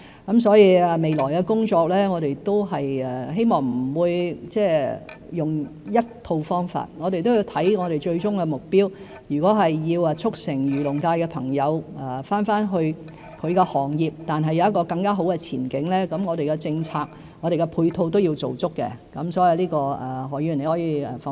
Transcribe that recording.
我們希望未來的工作不會只用一套方法，我們要看最終目標，如果要促成漁農界的朋友回到本身的行業而有更好的前景，我們的政策、配套也要做足，這方面何議員可以放心。